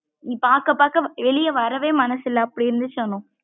நீ பாக்க பாக்க வெளிய வரவே மனசு இல்ல அப்படி இருந்த்சு அனு.